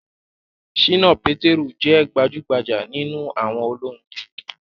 Ṣìnà Pétérù jẹ́ gbajúgbajà nínú àwọn olórin